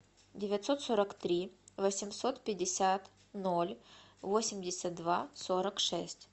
девятьсот сорок три восемьсот пятьдесят ноль восемьдесят два сорок шесть